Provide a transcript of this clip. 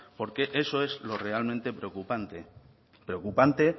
porque eso es lo realmente preocupante preocupante